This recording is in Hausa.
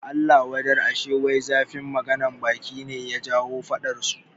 Allah wadar, ashe wai zafin maganan baki ne ya jawo faɗan su